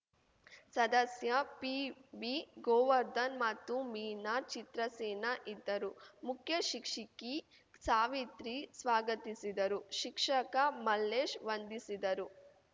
ಸದಸ್ಯ ಪಿಬಿ ಗೋವರ್ಧನ್‌ ಮತ್ತು ಮೀನಾ ಚಿತ್ರಸೇನ ಇದ್ದರು ಮುಖ್ಯಶಿಕ್ಷಿಕಿ ಸಾವಿತ್ರಿ ಸ್ವಾಗತಿಸಿದರು ಶಿಕ್ಷಕ ಮಲ್ಲೇಶ್‌ ವಂದಿಸಿದರು